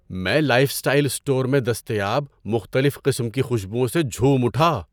میں life style store میں دستیاب مختلف قسم کی خوشبوؤں سے جھوم اٹھا۔